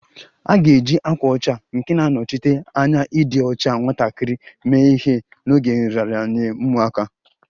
A ga-eji ákwà ọcha nke na-anọchite anya ịdị ọcha nwatakịrị mee ihe n'oge nraranye ụmụaka